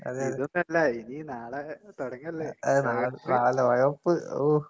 അതെയതെ. അതെ നാളെ നാളെ ലോകകപ്പ് ഓഹ്.